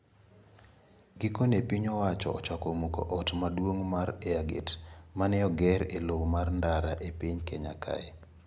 Gikone piny owacho ochako muko ot maduong` mar Airgate ma ne oger e lowo mar ndara e piny Kenya ka.